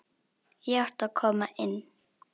Ég átti að koma inn!